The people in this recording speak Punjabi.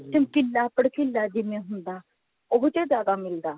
ਚਮਕੀਲਾ ਪੜਕਿਲਾ ਜਿਵੇਂ ਹੁੰਦਾ ਉਹੋ ਜਿਹਾ ਜਿਆਦਾ ਮਿਲਦਾ